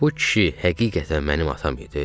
Bu kişi həqiqətən mənim atam idi?